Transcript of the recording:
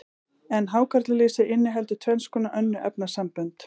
en hákarlalýsið inniheldur tvenns konar önnur efnasambönd